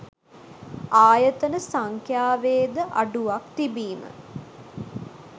ආයතන සංඛ්‍යාවේද අඩුවක් තිබීම